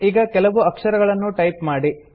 ಈಗ ಕೆಲವು ಅಕ್ಷರಗಳನ್ನು ಟೈಪ್ ಮಾಡಿ